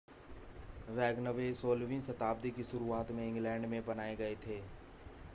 wagonway 16 वीं शताब्दी की शुरुआत में इंग्लैंड में बनाए गए थे